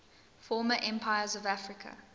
former empires of africa